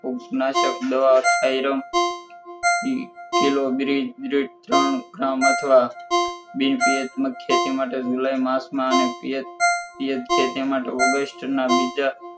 ઉપનાસબદ theorem કિલોગીરી ત્રણ gram અથવા બપીએચ ના ખેતી માટે august ના બીજા